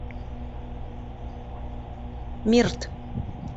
мирт